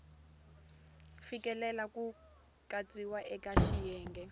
fikeleli ku katsiwa eka xiyenge